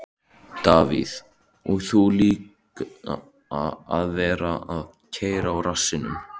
Davíð: Og líka að vera að keyra á rassinum.